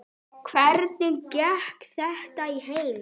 Hvernig gekk þetta í heild?